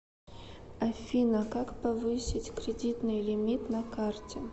афина как повысить кредитный лимит на карте